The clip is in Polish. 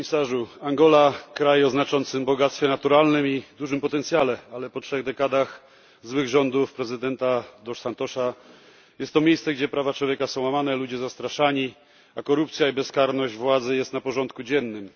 Panie Komisarzu! Angola to kraj o znaczącym bogactwie naturalnym i dużym potencjale, ale po trzech dekadach złych rządów prezydenta dos Santosa jest to miejsce, gdzie prawa człowieka są łamane, ludzie zastraszani, a korupcja i bezkarność władzy są na porządku dziennym.